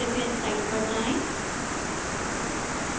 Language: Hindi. कृपया इस site पर जाएं